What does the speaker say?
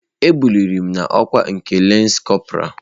E buliri m n'ọkwa nke lance corpora.